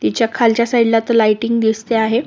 तिच्या खालच्या साईडला तो लाइटिंग दिसते आहे.